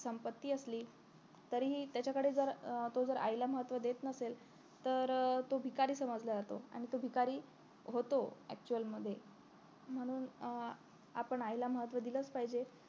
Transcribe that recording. संपत्ती असली तरीही त्याच्याकडे जर अं तो जर आईला महत्व देत नसेल तर तो भिकारी समजला जातो आणि तो भिकारी होतो actual मध्ये म्हणून अं आपण आईला महत्व दिलंच पाहिजे